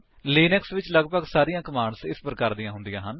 Linux ਵਿੱਚ ਲਗਭਗ ਸਾਰੀਆਂ ਕਮਾਂਡਸ ਇਸ ਪ੍ਰਕਾਰ ਦੀਆਂ ਹੁੰਦੀਆਂ ਹਨ